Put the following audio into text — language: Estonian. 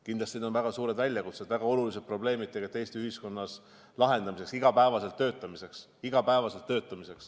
Kindlasti need on väga suured väljakutsed, väga oluliselt probleemid Eesti ühiskonnas, mis tuleb lahendada, millega tuleb iga päev töötada.